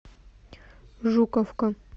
жуковка